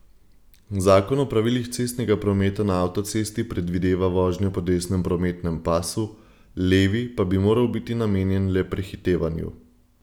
Zakon o pravilih cestnega prometa na avtocesti predvideva vožnjo po desnem prometnem pasu, levi pa bi moral biti namenjen le prehitevanju.